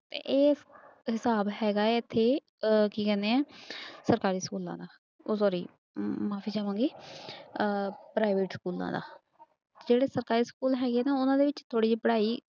ਤੇ ਇਹ ਹਿਸਾਬ ਹੈਗਾ ਹੈ ਇੱਥੇ ਅਹ ਕੀ ਕਹਿੰਦੇ ਹੈ ਸਰਕਾਰੀ ਸਕੂਲਾਂ ਦਾ ਓਹ sorry ਮਾਫ਼ੀ ਚਾਵਾਂਗੀ ਅਹ private ਸਕੂਲਾਂ ਦਾ, ਜਿਹੜੇ ਸਰਕਾਰੀ ਸਕੂਲ ਹੈਗੇ ਨਾ ਉਹਨਾਂ ਦੇ ਵਿੱਚ ਥੋੜ੍ਹੀ ਜਿਹੀ ਪੜ੍ਹਾਈ